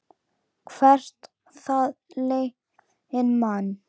Hvert það leiðir mann.